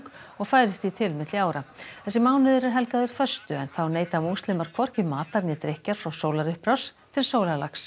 og færist því til milli ára þessi mánuður er helgaður föstu en þá neyta múslimar hvorki matar né drykkjar frá sólarupprás til sólarlags